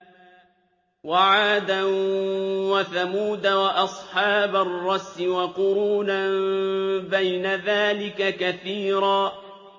وَعَادًا وَثَمُودَ وَأَصْحَابَ الرَّسِّ وَقُرُونًا بَيْنَ ذَٰلِكَ كَثِيرًا